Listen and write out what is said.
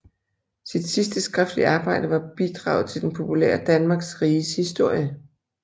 Sit sidste skriftlige arbejde var bidraget til den populære Danmarks Riges Historie